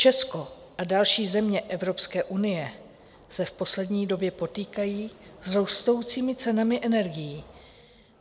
Česko a další země Evropské unie se v poslední době potýkají s rostoucími cenami energií.